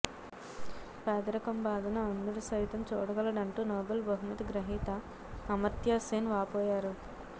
పేదరికం బాధను అంధుడు సైతం చూడగలడంటూ నోబెల్ బహుమతి గ్రహీత అమర్త్యసేన్ వాపోయారు